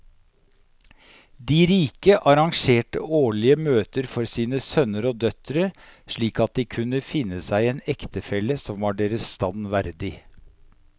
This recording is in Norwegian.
De rike arrangerte årlige møter for sine sønner og døtre slik at de kunne finne seg en ektefelle som var deres stand verdig.